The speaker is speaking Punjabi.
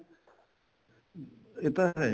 ਇਹ ਤਾਂ ਹੈ ਈ